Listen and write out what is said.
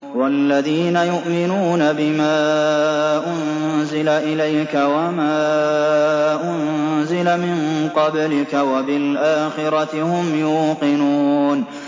وَالَّذِينَ يُؤْمِنُونَ بِمَا أُنزِلَ إِلَيْكَ وَمَا أُنزِلَ مِن قَبْلِكَ وَبِالْآخِرَةِ هُمْ يُوقِنُونَ